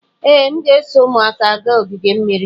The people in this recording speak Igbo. Ee, m ga-eso ụmụaka gaa ogige mmiri.